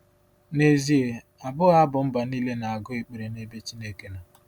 N’ezie, abụghị abụ mba niile na-agụ ekpere n’ebe Chineke nọ.